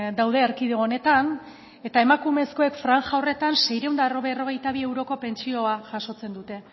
daude erkidego honetan eta emakumezkoek franja horretan seiehun eta berrogeita bi euroko pentsioa jasotzen dute